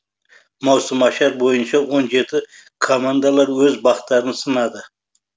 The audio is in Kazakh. маусымашар бойынша он жеті командалар өз бақтарын сынады